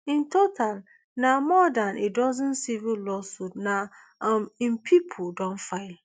in total na more dan a dozen civil lawsuits na um im pipo don file